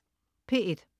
P1: